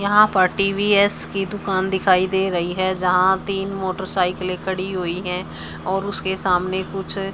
यहाँ पर टी_वी_एस की दुकान दिखाई दे रहीं हैं जहाँ तीन मोटरसाइकिलें खड़ी हुई हैं और उसके सामने कुछ--